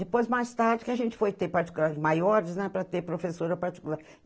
Depois, mais tarde, que a gente foi ter particulares maiores, né, para ter professora particular.